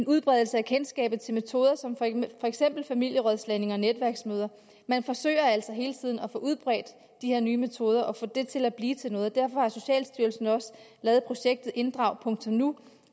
udbredelse af kendskabet til metoder som for eksempel familierådslagning og netværksmøder man forsøger altså hele tiden at få udbredt de her nye metoder og at få det til at blive til noget derfor har socialstyrelsen også lavet projektet inddragnu